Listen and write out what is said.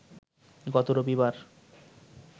গত রবিবার